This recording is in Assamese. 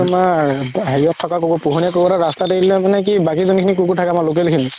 তুমাৰ হেৰিহত থাকা কুকুৰ পোহনীয়া কুকুৰ এটা ৰাস্তাত এৰি দিলে মানে কি বাকি যোনখিনি কুকুৰ থাকে আমাৰ local খিনি